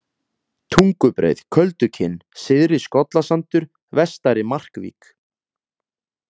Tungubreið, Köldukinn, Syðri-Skollasandur, Vestari-Markvík